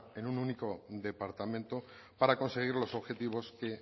en un único departamento para conseguir los objetivos que